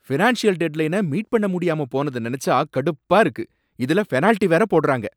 Financial டெட்லைன meet பண்ண முடியாம போனத நெனச்சா கடுப்பா இருக்கு, இதுல பெனாலிட்டி வேற போடுறாங்க!